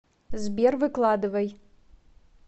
сбер выкладывай